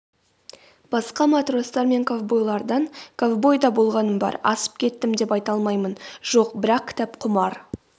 басқа матростар мен ковбойлардан ковбой да болғаным бар асып кеттім деп айта алмаймын жоқ бірақ кітапқұмар